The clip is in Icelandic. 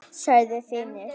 sagði Finnur.